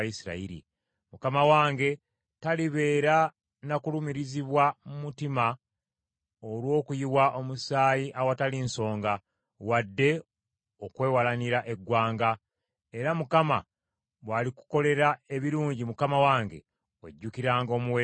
mukama wange talibeera na kulumirizibwa mu mutima olw’okuyiwa omusaayi awatali nsonga, wadde okwewalanira eggwanga. Era Mukama bw’alikukolera ebirungi mukama wange, ojjukiranga omuweereza wo.”